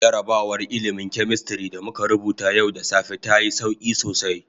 Jarrabawar ilmin "chemistry" da muka rubuta yau da safe ta yi sauki sosai.